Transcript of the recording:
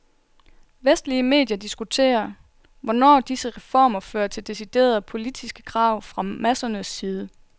Vestlige medier diskuterer, hvornår disse reformer fører til deciderede politiske krav fra massernes side.